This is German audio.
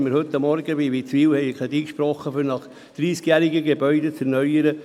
Heute Morgen haben wir einen Kredit gesprochen, um dreissigjährige Gebäude in Witzwil zu erneuern.